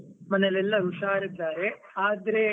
ಮನೇಲಿ ಎಲ್ಲ ಉಷಾರಿದ್ದಾರೆ, ಆದ್ರೆ.